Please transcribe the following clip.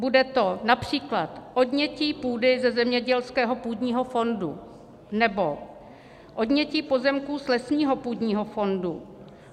Bude to například odnětí půdy ze zemědělského půdního fondu nebo odnětí pozemků z lesního půdního fondu.